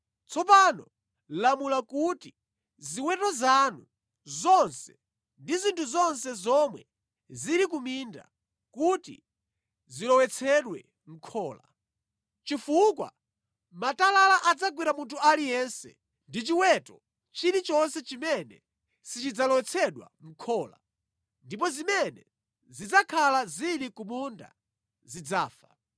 Tsopano lamula kuti ziweto zanu zonse ndi zinthu zonse zomwe zili ku minda kuti zilowetsedwe mʼkhola, chifukwa matalala adzagwera munthu aliyense ndi chiweto chilichonse chimene sichidzalowetsedwa mʼkhola ndipo zimene zidzakhala zili ku munda zidzafa.”